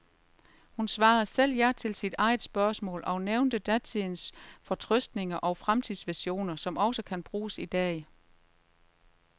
Hun svarede selv ja til sit eget spørgsmål og nævnte datidens fortrøstning og fremtidsvisioner, som også kan bruges i dag.